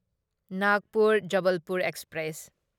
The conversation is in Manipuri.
ꯅꯥꯒꯄꯨꯔ ꯖꯕꯜꯄꯨꯔ ꯑꯦꯛꯁꯄ꯭ꯔꯦꯁ